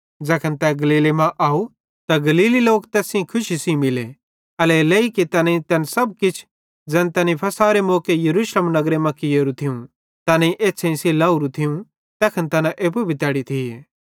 ज़ैखन तै गलीले मां अव त गलीली लोक तैस सेइं खुशी सेइं मिले एल्हेरेलेइ कि तैनेईं तैन सब किछ ज़ैन तैनी फ़सहरे मौके यरूशलेम नगरे मां कियेरू थियूं तैनेईं अपनी एछ़्छ़ेईं सेइं लावरू थियूं तैखन तैना एप्पू भी तैड़ी थिये